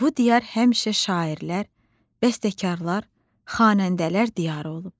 Bu diyar həmişə şairlər, bəstəkarlar, xanəndələr diyarı olub.